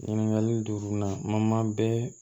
Ɲininkali duru na ma bɛɛ